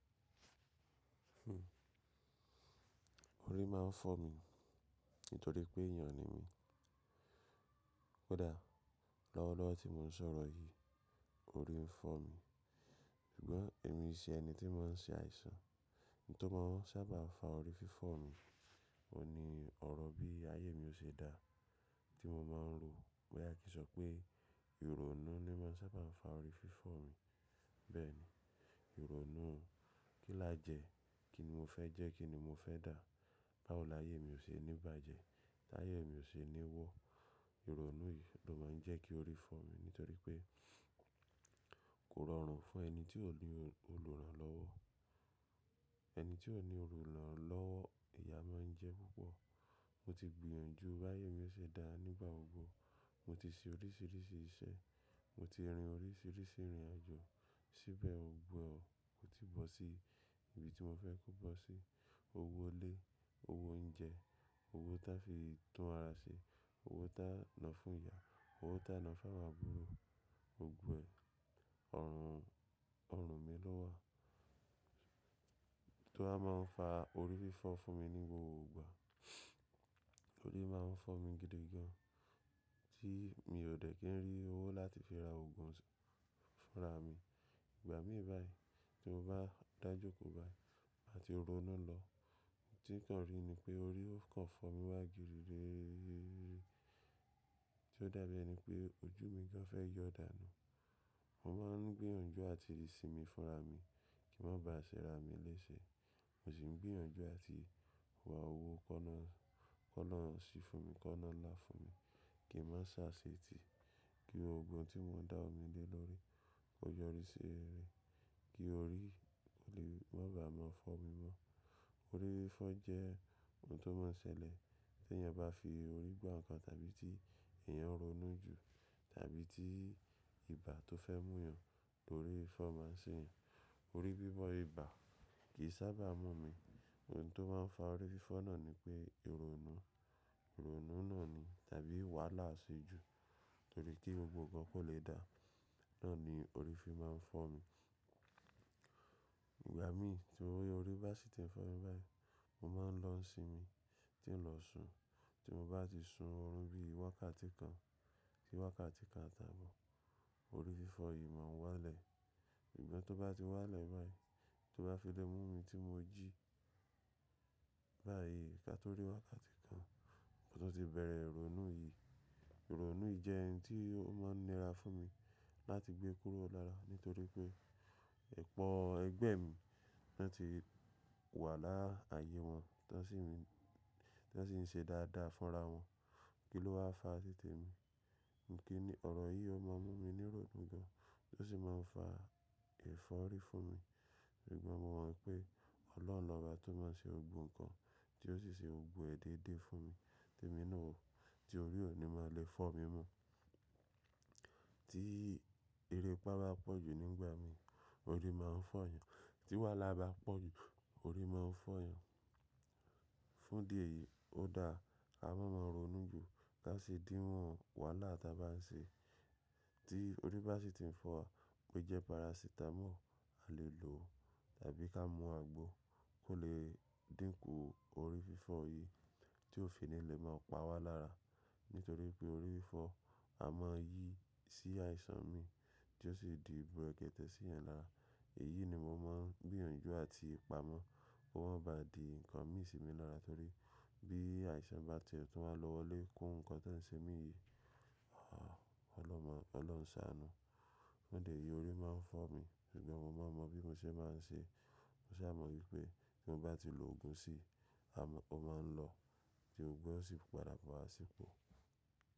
Hmm, orí máa ń fọ́ mi nítorí pé èèyàn ni mí. Ó dáa, lọ́wọ́lọ́wọ́ tí mò ń sọ̀rọ̀ yìí, orí ń fọ́ mi. Ṣùgbọ́n èmi i ṣe ẹni tí ń mọ́ n ṣe àìsàn. Ohun tó máa ń sábà n fa orí fífọ́ mi, òun ni ọ̀rọ̀ bí ayé mi ò ṣe daá tí mo máa ń ro. Bóyà kì n sọ pé ìrònú ni máa ń sábà n fa orí fífọ́ mi. Bẹ́ẹ̀ ni, ìrònú kí láa jẹ, kíni mo fẹ́ jẹ́, kíni mo fẹ́ dà, báwo láyé mi ò ṣe ní bàjẹ́, táyé mi ò ṣe ní wo. Ìrònú yìí ló máa ń jẹ́ kí orí fọ́ mi nítorí pé kò rọrùn fún ẹni tí ò ní olùrànlọ́wọ́. Ẹni tí ò ní olùrànlọ́wọ́, ìyà máa ń jẹ ẹ púpọ̀. Mo ti gbìyànjú báyé mi ó ṣe dáa nígbà gbogbo. Mo ti ṣe oríṣìíríṣìí iṣẹ́, mo ti rin oríṣìíríṣìí ìrìnàjò, síbẹ̀ ò gbọ́n kò tíì bọ́ sí ibi tí mo fẹ́ kó bọ́ sí. Owó ilé, owó oúnjẹ, owó tá fi tún ara ṣe, owó táa nà fúnyá, owó táa nà fàwọn àbúrò, gbogbo ẹ̀, ọ̀run, ọ̀run mi ló wà, tó wá máa ń fa orí fífọ́ fún mi ní gbogbo ìgbà. Orí máa ń fọ́ mi gidi gan-an tí mi ò dẹ̀ kí n rí owó láti fi ra òògùn fúnra mi. Ìgbà míi báyìí, tí mo bá dà jókòó báyìí mà ti ronú lọ, ohun tí n kàn rí ni pé orí ó kàn fọ́ mi wá girigiri. Tí ó dàbí ẹni pé ojú mi gan fẹ́ yọ dànù. Mo máa ń gbìyànjú àti rì sínmi fúnra mi kí n má ba à ṣẹ́ra mi léṣe. Mo sì ń gbìyànjú àti wá owó kọ́na, kọ́na ṣí fún mi, kọ́na là fún mi kí n má sáṣe tì, kí gbogbo ohun tí mo ń dáwọ́ mi lé lórí kó yọrí sí rere, kí orí ò lè má bàa máa fọ́ mi mọ́. Orí fífọ́ jẹ́ ohun tó máa ń ṣẹlẹ̀ tèèyàn bá fi orí gba nǹkan tàbí tí èèyàn ń ronú jù tàbí tí ibà tó fẹ́ múyan, orí fífọ́ máa ń ṣèèyàn. Orí fífọ́ ibà kì í sábà mú mi. Ohun tó máa ń fa orí fífọ́ náà ni pé ìrònú. Ìrònú náà ni tàbí wàhálà aṣejù torí kí gbogbo ǹkan kò le dáa, náà ni orí fi máa ń fọ́ mi. Ìgbà míi tí orí orí bá sì ti ń fọ́ mi báyìí, mo máa ń lọ ń sinmi tí ń lọ sùn. Tí mo bá ti sun ọ̀run bíi wákàtí kan sí wákàtí kan àtàábọ̀, orí fífọ́ yìí máa ń wálẹ̀. Ṣùgbọ́n tó bá ti wálẹ̀ báyìí, tó bá fi lé mú mi tí mo jí báyìí kátó rí wákàtí kan, mo tún ti bẹ̀rẹ̀ ìrònú yìí. Ìrònú yìí jẹ́ hin tí ó máa ń nira fún mi láti gbé kúrò lára nítorí pé ọ̀pọ̀ ẹ̀gbẹ́ mi ni wọ́n ti wà láààyè wọn, ton si n, tọ́n sì ń ṣe dáadáa fúnra wọn. Kí ló wá fa títè mi? Kíni ọ̀rọ̀ yìí ó máa ń mú mi nírònú gan-an ó sì máa ń fa ẹ̀fọ́rí fún mi. Ṣùgbọ́n mo mọ̀ wípé Ọlọ́run lóbá tó máa ń ṣe gbogbo nǹkan tí ó sì ṣe gbogbo ẹ̀ déédé fún mi tèmi náà o, tí orí ò ní máa le fọ́ mi mọ́. Tí erépa bá pọ̀ jù nígbà mií, orí máa ń fọ́yàn. Tí wàhálà bá pọ̀ jù, orí máa ń fọ́ èèyàn. Fúndi èyíi ó dáa, ká má máa ronú jù ká sì dínwọ́n wàhálà tá bá ń ṣe. Tí orí bá sì ti ń fọ́ wa bó jẹ́ paracetamol a lè lò o tàbí ká mú àgbo kó lè dínkù orí fífọ́ yìí tí ó fi ní lè máa pa wá lára. Nítorí wípé orí fífọ́ a máa yí sí àìsàn míì tí ó sì di bùrẹ́kẹ̀tẹ̀ síyàn lára. Èyíi ni mo máa ń gbìyànjú àti pamọ́ kó má ba à di nǹkan míi sì mi lára torí bí àìsàn bá tie tún wá lọ wọlé kún nǹkan tóń ṣe mí yìí, ah Ọlọ́run má, Ọlọ́run sáanú. Fúndi èyíi orí máa ń fọ́ mi ṣùgbọ́n mo máa ń mọ bí mo ṣe máa ń ṣe. Mo sáa mọ̀ wípé tí mo bá ti lòògùn sí i, a má, ó máa ń lọ tí gbogbo ẹ ó sì padà bọ̀ wá sípò.